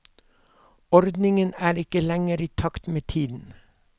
Ordningen er ikke lenger i takt med tiden.